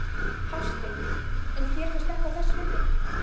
Hafsteinn: En þér finnst þetta þess virði?